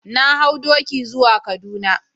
Na hau doki zuwa kaduna.